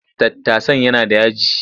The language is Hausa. Tattasan yana da yaji.